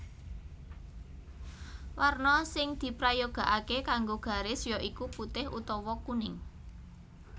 Warna sing diprayogakaké kanggo garis ya iku putih utawa kuning